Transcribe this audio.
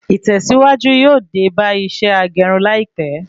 Ìtèsíwájú yóò dé bá iṣẹ́ agerun láìpé